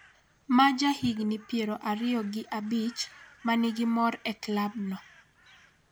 ma jahigni piero ariyo gi abich, ma nigi mor e klab no